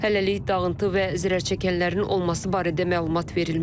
Hələlik dağıntı və zərərçəkənlərin olması barədə məlumat verilmir.